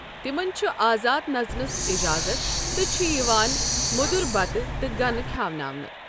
تِمَن چھُ آزاد نژنَس اجازت تہٕ چھِ یِوان مۄدُر بتہٕ تہٕ گنہٕ کھیٚوناونہٕ۔